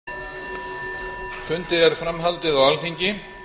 fundi er fram haldið á alþingi